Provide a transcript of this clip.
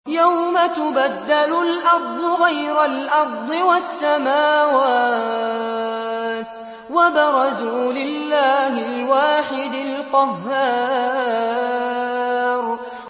يَوْمَ تُبَدَّلُ الْأَرْضُ غَيْرَ الْأَرْضِ وَالسَّمَاوَاتُ ۖ وَبَرَزُوا لِلَّهِ الْوَاحِدِ الْقَهَّارِ